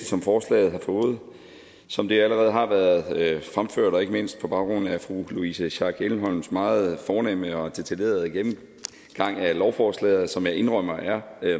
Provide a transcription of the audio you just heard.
som forslaget har fået som det allerede har været fremført og ikke mindst på baggrund af fru louise schack elholms meget fornemme og detaljerede gennemgang af lovforslaget som jeg indrømmer er